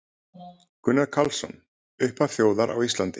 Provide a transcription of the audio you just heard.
Gunnar Karlsson: Upphaf þjóðar á Íslandi